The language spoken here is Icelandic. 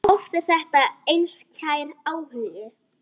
Oft er þetta einskær áhugi.